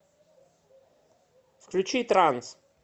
включи транс